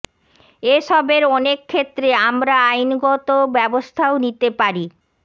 এসবের অনেক ক্ষেত্রে আমরা আইনগত ব্যবস্থাও নিতে পারি